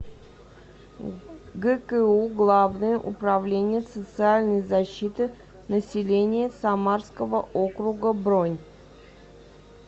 гку главное управление социальной защиты населения самарского округа бронь